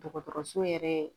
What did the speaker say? Dɔgɔtɔrɔso yɛrɛ